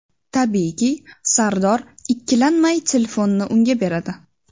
Tabiiyki, Sardor ikkilanmay telefonni unga beradi.